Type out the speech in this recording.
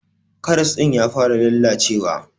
karas din ya fara lallacewa.